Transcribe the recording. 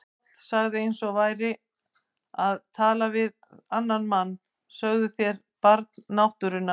Páll sagði eins og hann væri að tala við annan mann: Sögðuð þér Barn náttúrunnar?